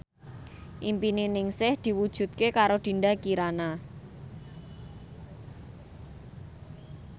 impine Ningsih diwujudke karo Dinda Kirana